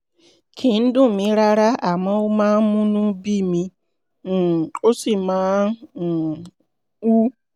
kì í dùn mí rárá rárá àmọ́ ó máa ń múnú bími um ó sì máa um ń wú